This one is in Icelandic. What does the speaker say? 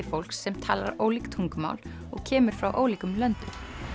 fólks sem talar ólík tungumál og kemur frá ólíkum löndum